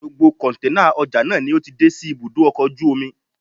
Gbogbo kọ̀ǹténà ọjà náà ni ó ti dé sí ibùdó ọkọ̀ ojú omi